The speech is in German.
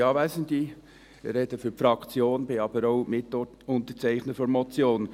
Ich spreche für die Fraktion, bin aber auch Mitunterzeichner der Motion.